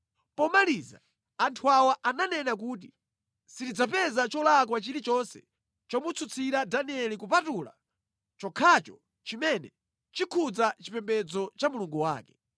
Pomaliza, anthu awa ananena kuti, “Sitidzapeza cholakwa chilichonse chomutsutsira Danieli kupatula chokhacho chimene chikhudza chipembedzo cha Mulungu wake.”